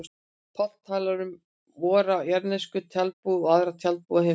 Páll talar um vora jarðnesku tjaldbúð og aðra tjaldbúð á himnum.